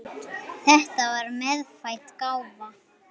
Þetta var meðfædd gáfa.